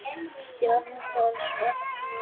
Björn: Hvers vegna?